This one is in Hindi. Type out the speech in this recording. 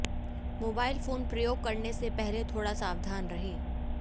मोबाइल फोन प्रयोग करने से पहले थोड़ा सावधान रहें